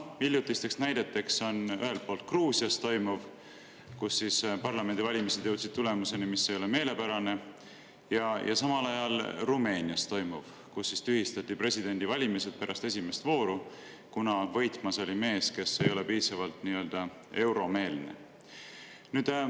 Hiljutiseks näiteks on ühelt poolt Gruusias toimuv, kus parlamendivalimised jõudsid tulemuseni, mis ei ole meelepärane, ja samal ajal Rumeenias toimuv, kus tühistati presidendivalimised pärast esimest vooru, kuna võitmas oli mees, kes ei ole piisavalt nii-öelda euromeelne.